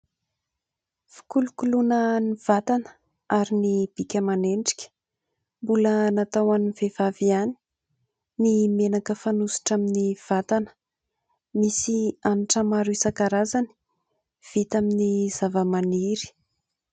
Fikolokoloana ny vatana ary ny bika aman'endrika mbola natao ho an'ny vehivavy ihany, ny menaka fanosotra amin'ny vatana; misy hanitra maro isankarazany vita amin'ny zavamaniry.